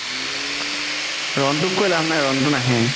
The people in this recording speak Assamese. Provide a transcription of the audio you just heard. ৰোন্তুক কই লাভ নাই ৰোন্তু নাহে